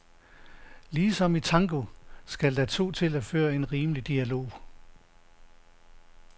Ligesom i tango skal der to til at føre en rimelig dialog.